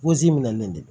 minalen tɛ